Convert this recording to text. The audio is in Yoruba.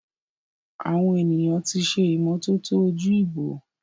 Awon eniyan ti se imototo oju-ibo.